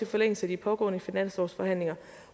forlængelse af de pågående finanslovsforhandlinger